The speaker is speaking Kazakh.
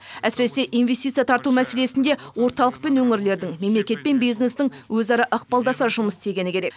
әсіресе инвестиция тарту мәселесінде орталық пен өңірлердің мемлекет пен бизнестің өзара ықпалдаса жұмыс істегені керек